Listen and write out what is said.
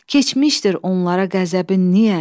Keçmişdir onlara qəzəbin niyə?